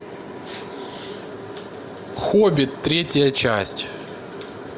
хоббит третья часть